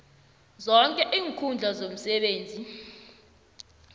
zoke iinkhundla zomsebenzi